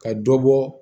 Ka dɔ bɔ